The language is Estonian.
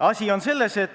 Asi on selles, et